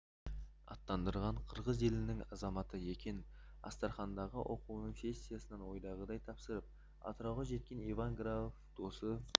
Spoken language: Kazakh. аттандырған қырғыз елінің азаматы екен астрахандағы оқуының сессиясын ойдағыдай тапсырып атырауға жеткен иван грабов досы